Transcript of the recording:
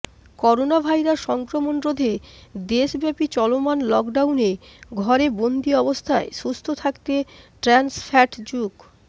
coronavirus সংক্রমণ রোধে দেশব্যাপী চলমান লকডাউনে ঘরে বন্দী অবস্থায় সুস্থ থাকতে ট্রান্স ফ্যাটযুক্